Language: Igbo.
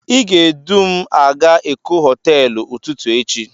Ị ga-edu m a ga Eko hoteelu ụtụtụ echi.